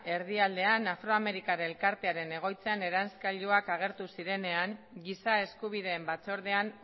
erdialdean afroamerikar elkartearen egoitzan eranskailuak agertu zirenean giza eskubideen batzordean